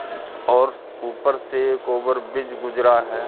और स स ऊपर से एक ओवर बीज गुजरा है।